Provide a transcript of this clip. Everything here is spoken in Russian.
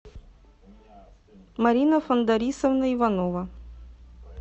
марина фандарисовна иванова